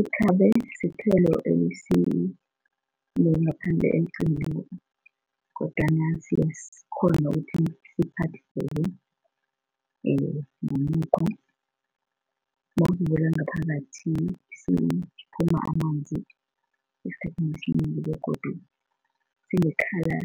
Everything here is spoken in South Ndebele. Ikhabe sithelo kodwana siyakghona ukuthi siphadlheke ngomukhwa nawusivula ngaphakathi siphuma amanzi esikhathini esinengi begodu sine colour